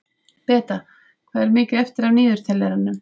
Beta, hvað er mikið eftir af niðurteljaranum?